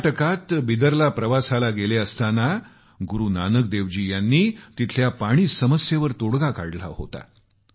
कर्नाटकात बिदरला प्रवासाला गेले असताना गुरूनानक देवजी यांनी तिथल्या पाणी समस्येवर तोडगा काढला होता